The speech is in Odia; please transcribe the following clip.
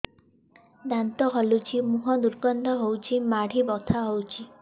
ଦାନ୍ତ ହଲୁଛି ମୁହଁ ଦୁର୍ଗନ୍ଧ ହଉଚି ମାଢି ବଥା ହଉଚି